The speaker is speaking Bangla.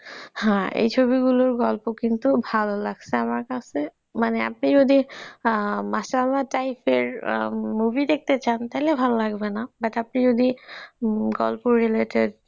হ্যাঁ এই ছবিগুলোর গল্প কিন্তু ভালো লাগছে আমার কাছে মানে আপনি যদি হ্যাঁ মাশআল্লাহ type এর movie দেখতে চান তাহলে ভাল লাগবে না, but আপনি যদি গল্পে related